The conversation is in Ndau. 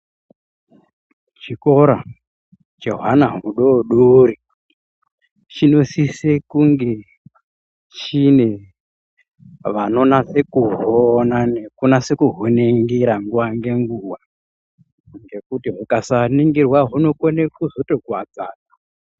Chikora chehwana hudodori chinosise kunge chine vanonase kuhuona nekunase kuhuningira nguva ngenguva. Nekuti hukasaningirwa hunokone kuzotokuvadza antu.